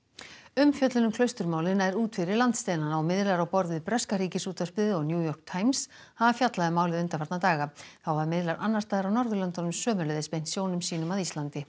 umfjöllun um Klausturmálið nær út fyrir landsteinana og miðlar á borð við breska Ríkisútvarpið og New York Times hafa fjallað um málið undanfarna daga þá hafa miðlar annars staðar á Norðurlöndunum sömuleiðis beint sjónum sínum að Íslandi